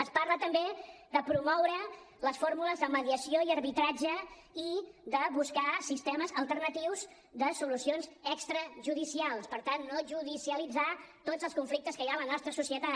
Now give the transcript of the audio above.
es parla també de promoure les fórmules de mediació i arbitratge i de buscar sistemes alternatius de solucions extrajudicials per tant no judicialitzar tots els conflictes que hi ha a la nostra societat